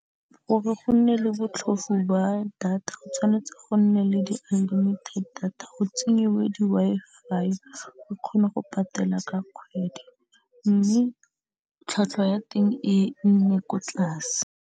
Gore go nne le botlhofo ba data go tshwanetse go nne le di unlimited data go tsenyiwe di Wi-Fi re kgone go patela ka kgwedi mme tlhwatlhwa ya teng e nne ko tlase.